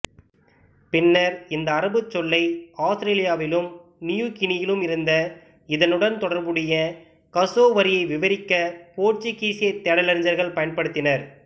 பின்னர் இந்த அரபுச் சொல்லை ஆஸ்திரேலியாவிலும் நியூ கினியிலும் இருந்த இதனுடன் தொடர்புடைய கசோவரியை விவரிக்க போர்ச்சுக்கீசு தேடலறிஞர்கள் பயன்படுத்தினர்